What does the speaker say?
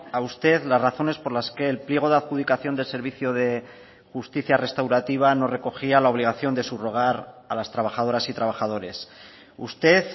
a usted las razones por las que el pliego de adjudicación del servicio de justicia restaurativa no recogía la obligación de subrogar a las trabajadoras y trabajadores usted